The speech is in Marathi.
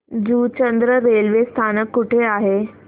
जुचंद्र रेल्वे स्थानक कुठे आहे